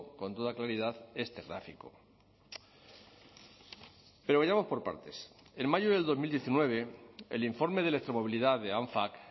con toda claridad este gráfico pero vayamos por partes en mayo del dos mil diecinueve el informe de electromovilidad de anfac